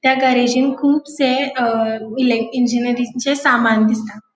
त्या गॅरेजिन कुबसे अ लायक इंजिनीयरिंगचे सामान दिसता.